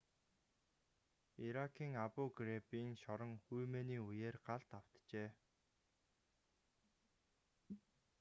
иракийн абу-грейбийн шорон үймээний үеэр галд автжээ